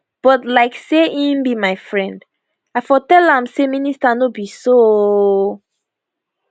but like say im be my friend i for tell am say minister no be so ooo